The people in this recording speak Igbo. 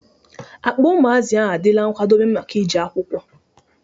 Akpa ụmụazi a dịla nkwadobe maka ị jee akwụkwọ